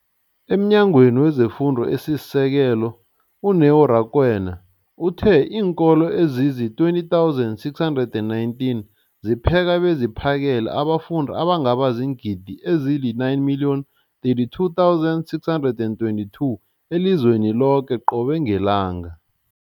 EmNyangweni wezeFundo esiSekelo, u-Neo Rakwena, uthe iinkolo ezizi-20 619 zipheka beziphakele abafundi abangaba ziingidi ezili-9 032 622 elizweni loke qobe ngelanga.